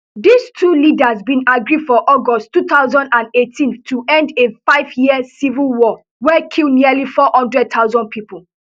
di two leaders bin agree for august two thousand and eighteen to end a fiveyear civil war wey kill nearly four hundred thousand pipo